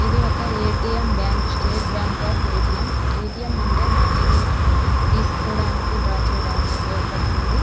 ఇది ఒక ATM bank . State bank of ATM . ATM అంటే మనీనీ మనం తీసుకోడానికి ద్రా చెయ్యడానికి ఉపయోగపడుతుంది.